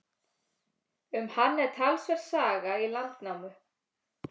Um hann er talsverð saga í Landnámu.